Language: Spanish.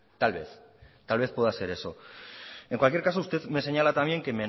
tal vez tal vez pueda ser eso en cualquier caso usted me señala también